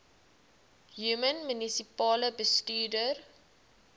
human munisipale bestuurder